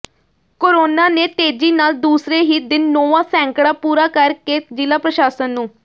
corona ਨੇ ਤੇਜ਼ੀ ਨਾਲ ਦੂਸਰੇ ਹੀ ਦਿਨ ਨੌਵਾਂ ਸੈਂਕੜਾ ਪੂਰਾ ਕਰ ਕੇ ਜ਼ਿਲ੍ਹਾ ਪ੍ਰਸ਼ਾਸਨ ਨੂੰ